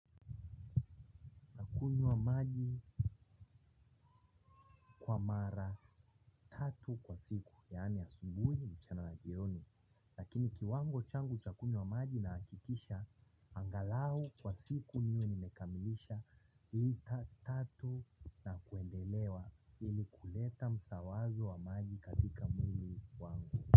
Nakunywa maji kwa mara tatu kwa siku. Yani asubuhi mchana na jioni. Lakini kiwango changu cha kunywa maji nahakikisha. Angalau kwa siku niwe nimekamilisha. Lita tatu na kuendelea. Hili kuleta msawazo wa maji katika mwili wangu.